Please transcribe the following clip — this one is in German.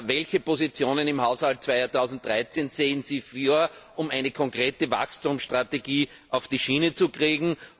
Welche Positionen im Haushalt 2013 sehen Sie vor, um eine konkrete Wachstumsstrategie auf die Schiene zu kriegen?